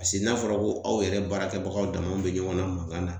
n'a fɔra ko aw yɛrɛ baarakɛbagaw dama aw bɛ ɲɔgɔn na mankan na